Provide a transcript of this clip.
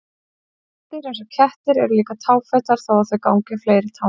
Rándýr eins og kettir eru líka táfetar þó að þau gangi á fleiri tám.